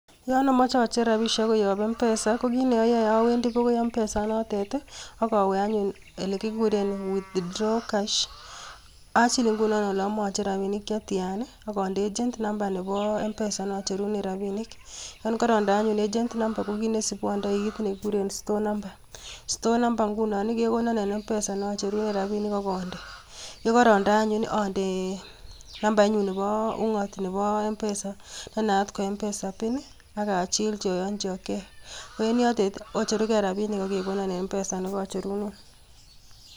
Yon omoche acher rabisiek koyoob mpesa ko kit neoyoe awendii bokoi mpesa inotet ak awe anyun elekikuuren withdraw cash. Achil ingunon ole amoche acher rabisiek che tianaa, akondechi nambait nebo mpesa inotet nocherunen rabinik. Yon korondee anyun ATM mamba ondoi kit nekikuren store namba. Store namba ingunoon kekonon en mpesa nocherunen rabinik, yekorondee anyun ondee nambainyuun Nebo ung'oot nebo mpesa, nenaat ko mpesa pin. Ak achilchii ayonyii Okey, koyon en yotet kocherugee rabinik ak kegoonon en mpesa nekocheruneen.